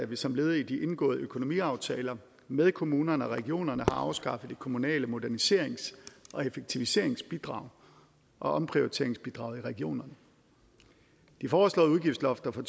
vi som led i de indgåede økonomiaftaler med kommunerne og regionerne har afskaffet det kommunale moderniserings og effektiviseringsbidrag og omprioriteringsbidraget i regionerne de foreslåede udgiftslofter for